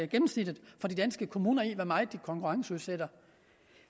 gennemsnittet for de danske kommuner i hvor meget de konkurrenceudsætter